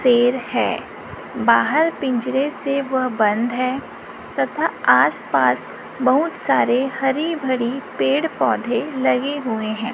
शेर है बाहर पिंजरे से वह बंद है तथा आस पास बहुत सारे हरी भरी पेड़ पौधे लगे हुए हैं।